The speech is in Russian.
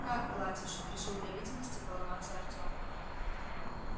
как платишь решил для видимости поломаться артем